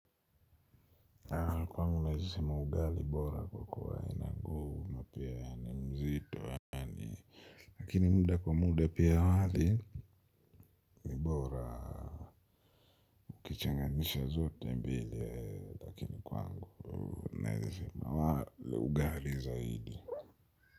Aa kwangu naeza sema ugali bora kwa kuwa ina nguvu na pia ni mzito yani lakini muda kwa muda pia wali ni bora ukichanganisha zote mbili ee lakini kwangu naeza sema ugali zaidi.